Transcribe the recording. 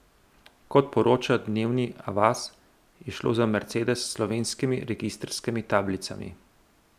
Kot poroča Dnevni Avaz, je šlo za mercedes s slovenskimi registrskimi tablicami.